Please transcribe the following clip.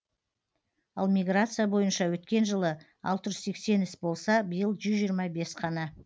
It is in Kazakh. ал миграция бойынша өткен жылы алты жүз сексен іс болса биыл жүз жиырма бес қана